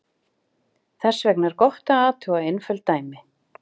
Þess vegna er gott að athuga einföld dæmi.